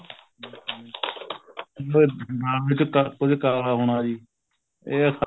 ਬਦਨਾਮ ਵੀ ਕੀਤਾ ਕੁੱਝ ਕਾਲਾ ਹੋਣਾ ਜੀ ਇਹ